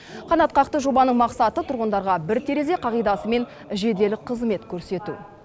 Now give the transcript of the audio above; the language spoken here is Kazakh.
қанатқақты жобаның мақсаты тұрғындарға бір терезе қағидасымен жедел қызмет көрсету